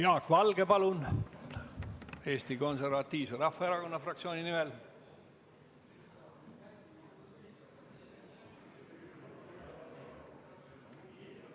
Jaak Valge, palun, Eesti Konservatiivse Rahvaerakonna fraktsiooni nimel!